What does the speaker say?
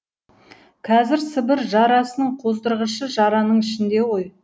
қазір сібір жарасының қоздырғышы жараның ішінде ғой